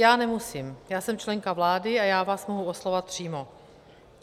Já nemusím, já jsem členka vlády a já vás mohu oslovovat přímo.